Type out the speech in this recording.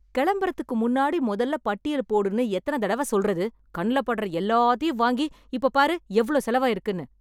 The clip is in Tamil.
கெளம்புறதுக்கு முன்னாடி மொதல்ல பட்டியல் போடுன்னு எத்தனத் தடவ சொல்லுறது? கண்ணுல படுற எல்லாத்தையும் வாங்கி இப்போப் பாரு எவ்வளவு செலவாகியிருக்குன்னு!